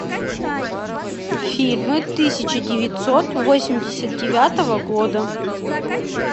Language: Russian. фильмы тысяча девятьсот восемьдесят девятого года